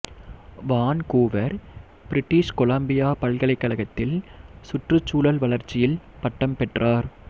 Vancouver British Columbia பல்கலைக்கழகத்தில் சுற்றுச்சூழல் வளர்ச்சியில் பட்டம் பெற்றார்